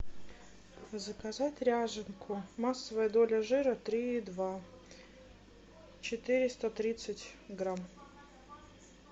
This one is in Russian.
заказать ряженку массовая доля жира три и два четыреста тридцать грамм